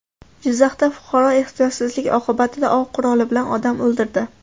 Jizzaxda fuqaro ehtiyotsizlik oqibatida ov quroli bilan odam o‘ldirdi.